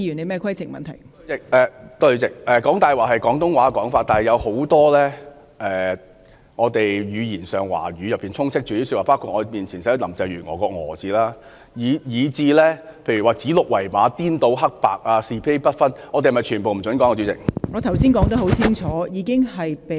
代理主席，"講大話"是廣東話用語，但華語有很多不同用語，包括我前面的展示牌上"林鄭月訛"的"訛"字，以至"指鹿為馬"、"顛倒黑白"、"是非不分"等，是否全部也不准使用呢，代理主席？